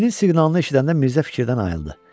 Jiqulinin siqnalını eşidəndə Mirzə fikirdən ayıldı.